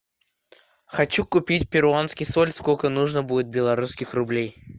хочу купить перуанский соль сколько нужно будет белорусских рублей